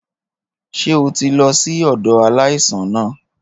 Ṣé o ti lọ sí ọ̀dọ̀ aláìsàn náà?